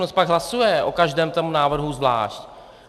Ono se pak hlasuje o každém tom návrhu zvlášť.